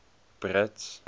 brits